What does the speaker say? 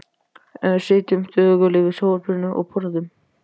Eða sitjum þögul yfir sjónvarpinu og borðum.